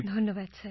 ধন্যবাদ স্যার